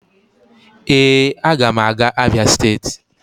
Ee, a ga m aga Abia state